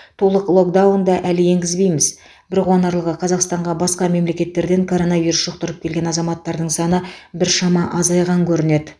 толық локдаунды әлі енгізбейміз бір қуанарлығы қазақстанға басқа мемлекеттерден коронавирус жұқтырып келген азаматтардың саны біршама азайған көрінеді